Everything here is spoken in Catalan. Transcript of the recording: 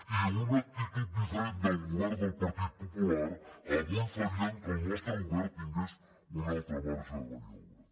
i una actitud diferent del govern del partit popular avui faria que el nostre govern tingués un altre marge de maniobra